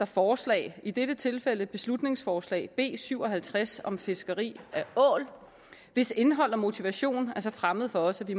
forslag i dette tilfælde et beslutningsforslag b syv og halvtreds om fiskeri af ål hvis indhold og motivation er så fremmed for os at vi